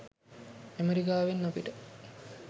ඇමරිකාවෙන් අපිට